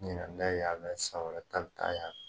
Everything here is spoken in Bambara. Ɲinɛ n bɛ yan fɛ, san wɛrɛ ta bɛ taa yan fɛ.